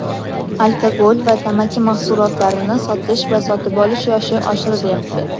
Alkogol va tamaki mahsulotlarini sotish va sotib olish yoshi oshirilyapti.